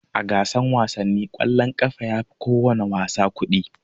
A gasan wasanni kwallon ƙafa yafi kowana wasa kuɗi.